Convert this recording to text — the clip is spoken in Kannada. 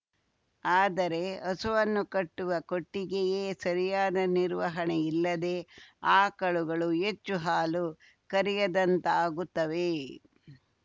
ಆದರೆ ಹಸುವನ್ನು ಕಟ್ಟುವ ಕೊಟ್ಟಿಗೆಯೇ ಸರಿಯಾದ ನಿರ್ವಹಣೆ ಇಲ್ಲದೆ ಆಕಳುಗಳು ಹೆಚ್ಚು ಹಾಲು ಕರೆಯದಂತಾಗುತ್ತವೆ